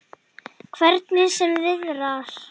Hvernig sem viðrar.